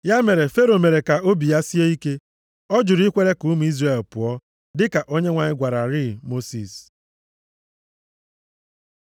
Ya mere, Fero mere ka obi ya sie ike. Ọ jụrụ ikwere ka ụmụ Izrel pụọ, dịka Onyenwe anyị gwararịị Mosis.